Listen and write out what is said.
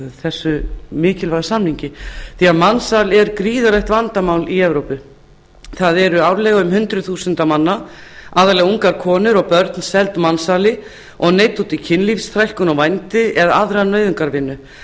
þessum mikilvæga samningi mansal er gríðarlegt vandamál í evrópu árlega eru þúsundir manna aðallega ungar konur og börn seldar mansali og neydd út í kynlífsþrælkun og vændi eða aðra nauðungarvinnu